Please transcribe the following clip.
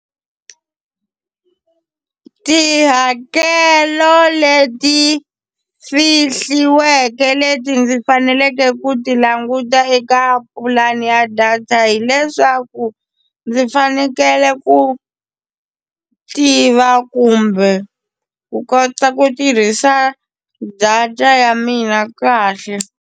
Tihakelo leti fihliweke leti ndzi faneleke ku ti languta eka pulani ya data hileswaku ndzi fanekele ku tiva kumbe ku kota ku tirhisa data ya mina kahle.